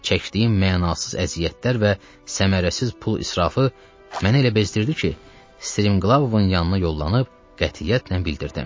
Çəkdiyim mənasız əziyyətlər və səmərəsiz pul israfı mənə elə bezdirdi ki, Strimqlavovun yanına yollanıb qətiyyətlə bildirdim.